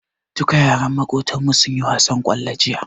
Duka yaran Makotan mu sunyi wasan kwallo jiya